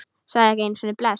Sagði ekki einu sinni bless.